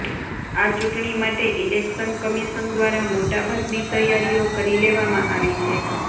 આ ચુંટણી માટે ઈલેકશન કમીશન દ્વારા મોટાભાગની તૈયારીઓ કરી લેવામાં આવી છે